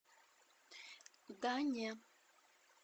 да не